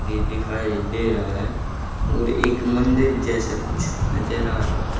भी दिखाई दे रहा है और एक मंदिर जैसा कुछ नजर आ रहा--